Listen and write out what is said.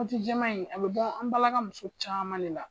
ji jɛman in a bɛ bɔ an balaka muso caman de la.